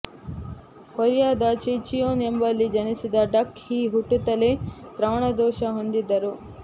ಕೊರಿಯಾದ ಜೆಚಿಯೊನ್ ಎಂಬಲ್ಲಿ ಜನಿಸಿದ ಡಕ್ ಹೀ ಹುಟ್ಟುತ್ತಲೇ ಶ್ರವಣದೋಷ ಹೊಂದಿದ್ದರು